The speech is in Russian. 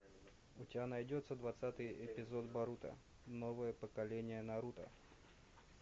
у тебя найдется двадцатый эпизод боруто новое поколение наруто